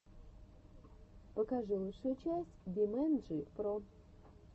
покажи лучшую часть бимэнджи про